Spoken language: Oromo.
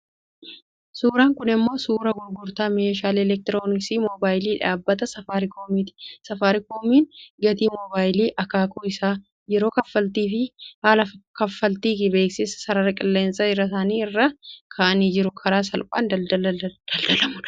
Suuraan kun immoo suuraa gurgurtaa meeshaalee elektirooniksii mobaayilii dhaabbata Safaarikoomiiti. Safaarikoomiin gatii moobaayilii, akaakuu isaa, yeroo kaffaltii fi haala kaffaltii beeksisa sarara qilleensaa isaanii irraa kaa'anii jiru. Karaa salphaan daldala daldalamudha.